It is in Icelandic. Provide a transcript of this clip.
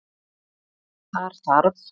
Þar þarf